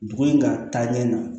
Dugu in ka taa ɲɛ na